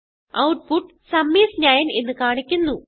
output sum is 9 എന്ന് കാണിക്കുന്നു